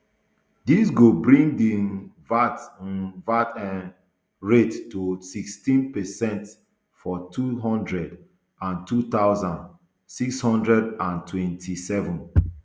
dis go bring di um vat um vat um rate to sixteen per cent for two hundred and two thousand, six hundred and twenty-seven